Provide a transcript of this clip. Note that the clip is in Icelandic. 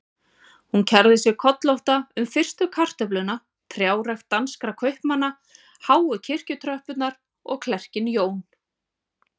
Hún kærði sig kollótta um fyrstu kartöfluna, trjárækt danskra kaupmanna, háu kirkjutröppurnar og klerkinn Jón